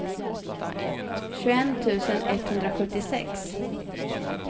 tjugoett tusen etthundrasjuttiosex